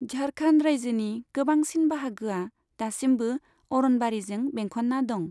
झारखन्ड रायजोनि गोबांसिन बाहागोआ दासिमबो अरनबारिजों बेंखनना दं।